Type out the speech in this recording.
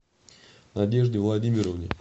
надежде владимировне